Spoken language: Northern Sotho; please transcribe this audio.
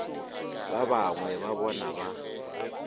ba bangwe ba bona ba